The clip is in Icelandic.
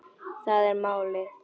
Það er málið